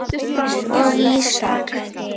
og Ísak.